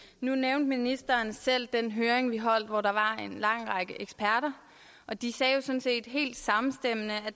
nu nævnte ministeren selv den høring vi holdt hvor der var en lang række eksperter og de sagde jo sådan set helt samstemmende at